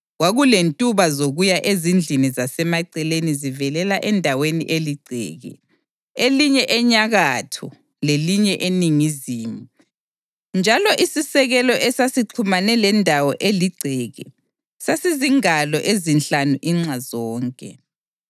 Kwakulentuba zokuya ezindlini zasemaceleni zivelela endaweni eligceke, elinye enyakatho lelinye eningizimu; njalo isisekelo esasixhumane lendawo eligceke sasizingalo ezinhlanu inxa zonke.